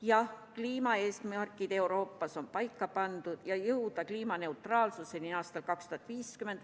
Jah, kliimaeesmärk Euroopas on paika pandud: jõuda kliimaneutraalsuseni aastal 2050.